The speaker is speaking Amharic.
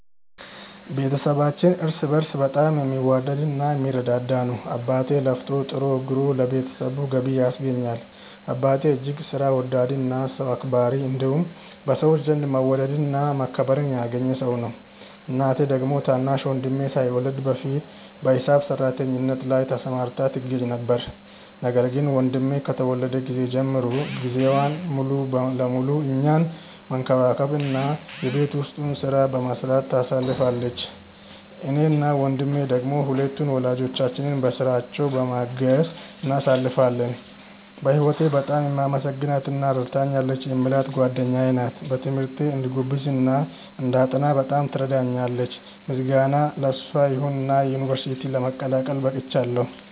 ቤተሰባችን እርስ በእርስ በጣም የሚዋደድ እና የሚረዳዳ ነው። አባቴ ለፍቶ ጥሮ ግሮ ለቤተሰቡ ገቢ ያስገኛል። አባቴ እጅግ ሥራ ወዳድ እና ሰው አክባሪ እንዲሁም በሰዎች ዘንድ መወደድን እና መከበርን ያገኘ ሰው ነው። እናቴ ደግሞ ታናሽ ወንድሜ ሳይወለድ በፊት በሂሳብ ሰራተኝነት ላይ ተሰማርታ ትገኛ ነበር፤ ነገር ግን ወንድሜ ከተወለደ ጊዜ ጀምሮ ጊዜዋን ሙሉ ለሙሉ እኛን መንከባከብ እና የቤት ውስጡን ሥራ በመስራት ታሳልፋለች። እኔ እና ወንድሜ ደሞ ሁለቱን ወላጆቻችንን በሥራቸው በማገዝ እናሳልፋለን። በህወቴ በጣም የማመሰግናት እና ረድታኛለች የምላት ጓደኛዬ ናት። በትምህርቴ እንድጎብዝ እና እንዳጠና በጣም ትረዳኛለች። ምስጋና ለሷ ይሁንና ዩንቨርስቲ ለመቀላቀል በቅቻለው።